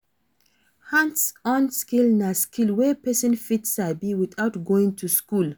Hands-on skill na skill wey persin fit sabi without going to school